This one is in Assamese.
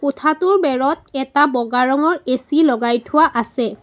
কোঠাটোৰ বেৰত এটা বগা ৰঙৰ এ_চি লগাই থোৱা আছে।